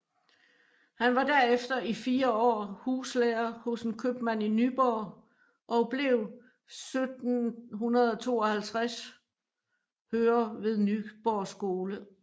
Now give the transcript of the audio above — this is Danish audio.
Han var derefter i 4 år huslærer hos en købmand i Nyborg og blev 1752 hører ved Nyborg Skole